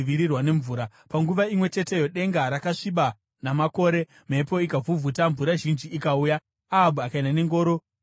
Panguva imwe cheteyo denga rakasviba namakore, mhepo ikavhuvhuta, mvura zhinji ikauya, Ahabhu akaenda nengoro kuJezireeri.